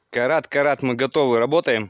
Karat, Karat, biz hazırıq, işləyirik.